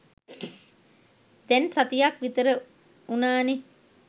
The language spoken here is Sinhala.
දැන් සතියක් විතර වුණානේ.